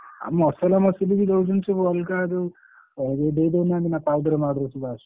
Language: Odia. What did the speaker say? ଆଉ ମସଲା ମସଲି ବି ଦଉଛନ୍ତି ଯୋଉ ଅଲଗା ଯୋଉ ଦେଇଦଉନାହାନ୍ତି ନା powder ମାଉଡର ସବୁ ଆସୁଛି।